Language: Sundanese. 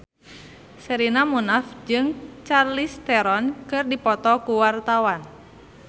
Sherina Munaf jeung Charlize Theron keur dipoto ku wartawan